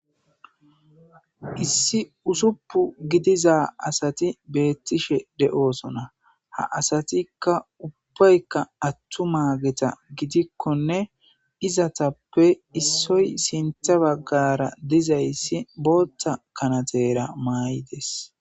issi usuppu gidiza asati beettishe de7oosona ha asatikka ubbaykka attu maageta gidikkonne izatappe issoy sintha baggara dizayssi bootta kanatera maayi des